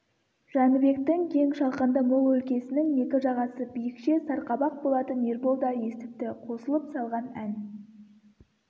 жәнібектің кең шалғынды мол өлкесінің екі жағасы биікше сарқабақ болатын ербол да естіпті қосылып салған ән